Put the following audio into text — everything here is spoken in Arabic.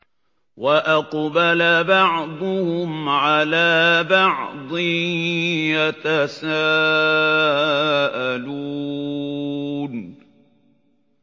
وَأَقْبَلَ بَعْضُهُمْ عَلَىٰ بَعْضٍ يَتَسَاءَلُونَ